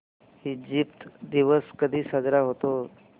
Egypt दिवस कधी साजरा होतो